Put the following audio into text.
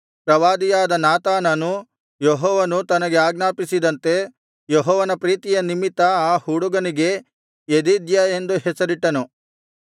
ಪ್ರವಾದಿಯಾದ ನಾತಾನನು ಯೆಹೋವನು ತನಗೆ ಆಜ್ಞಾಪಿಸಿದಂತೆ ಯೆಹೋವನ ಪ್ರೀತಿಯ ನಿಮಿತ್ತ ಆ ಹುಡುಗನಿಗೆ ಯೆದೀದ್ಯ ಎಂದು ಹೆಸರಿಟ್ಟನು